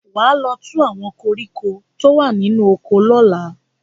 Wà á lọ tú àwọn koríko tó wà nínú oko lọ́la!